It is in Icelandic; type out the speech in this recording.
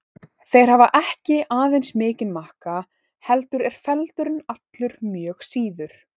Þeir hafa ekki aðeins mikinn makka heldur eru feldurinn allur mjög síður.